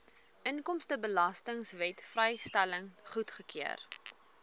inkomstebelastingwet vrystelling goedgekeur